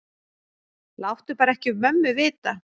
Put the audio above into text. Láttu bara ekki mömmu vita.